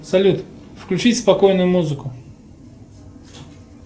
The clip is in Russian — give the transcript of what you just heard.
салют включить спокойную музыку